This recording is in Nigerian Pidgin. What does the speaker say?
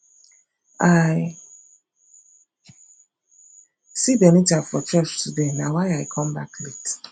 i see benita for church today na why i come back late